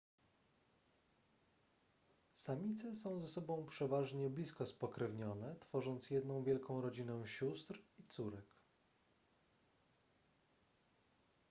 samice są ze sobą przeważnie blisko spokrewnione tworząc jedną wielką rodzinę sióstr i córek